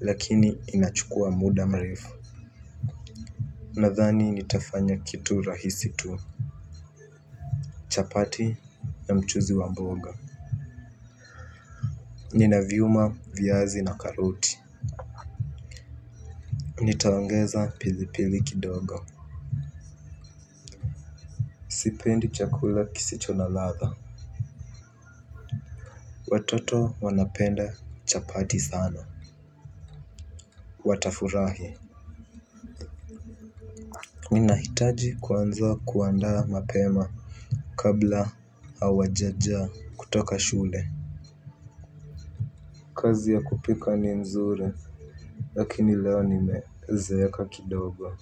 lakini inachukua muda mrefu. Nadhani nitafanya kitu rahisi tu. Chapati na mchuzi wa mboga. Ninaviuma viazi na karoti. Nitaongeza pilipili kidogo. Sipendi chakula kisicho na ladha. Watoto wanapenda chapati sana. Watafurahi. Mi nahitaji kuanza kuandaa mapema kabla hawajaja kutoka shule. Kazi ya kupika ni nzuri. Lakini leo nimeziweka kidogo.